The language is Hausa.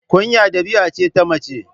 Kunya ɗabi'a ce ta mace